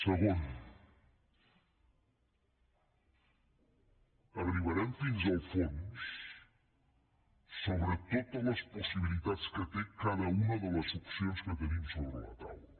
segon arribarem fins al fons sobre totes les possibilitats que té cada una de les opcions que tenim sobre la taula